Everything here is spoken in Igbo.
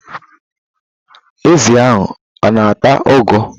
Ezi ahụ ọ-na ata ugu.